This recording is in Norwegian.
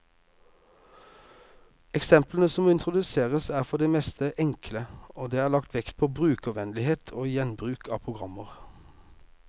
Eksemplene som introduseres, er for det meste enkle, og det er lagt vekt på brukervennlighet og gjenbruk av programmer.